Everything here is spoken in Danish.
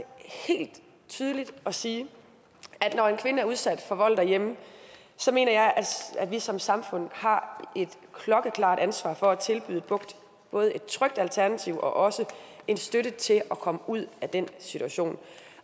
helt tydeligt at sige at når en kvinde er udsat for vold derhjemme så mener jeg at vi som samfund har et klokkeklart ansvar for at tilbyde både et trygt alternativ og også en støtte til at komme ud af den situation